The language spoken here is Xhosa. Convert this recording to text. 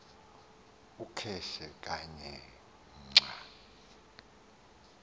ukhetshe kanye xa